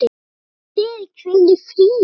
Megið þið hvíla í friði.